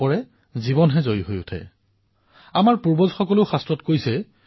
এখন খেলতেই পৰাজয়ীজনৰ উৎসাহ আৰু জয়ীজনৰ বিনম্ৰতা সঁচাকৈয়ে চাবলগীয়া দৃশ্য আছিল